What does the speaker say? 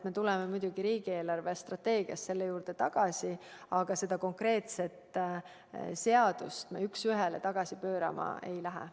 Me tuleme muidugi riigi eelarvestrateegiat arutades selle juurde tagasi, aga seda konkreetset seadust me üks ühele tagasi pöörama ei hakka.